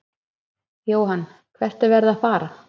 Jóhann: Hvert er verið að fara?